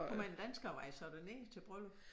Hvor mange danskere var I så dernede til bryllup?